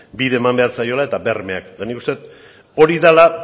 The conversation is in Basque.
bide eman behar zaiela eta bermeak eta nik uste dut hori dela